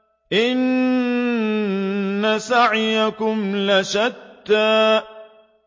إِنَّ سَعْيَكُمْ لَشَتَّىٰ